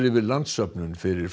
yfir landssöfnun fyrir